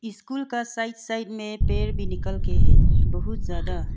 School का side side में पेड़ भी निकलके है बहुत ज्यादा।